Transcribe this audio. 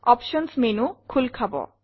options menu খোল খাব